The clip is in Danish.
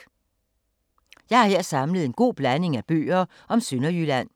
Jeg har her samlet en god blanding af bøger om Sønderjylland.